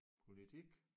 Politik